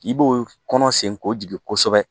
I b'o kɔnɔ senko jigin kosɛbɛ